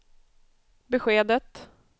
beskedet